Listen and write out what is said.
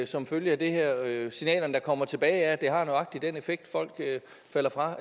som følge af det her signalerne der kommer tilbage er at det har nøjagtig den effekt folk falder fra